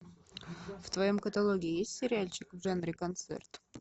в твоем каталоге есть сериальчик в жанре концерт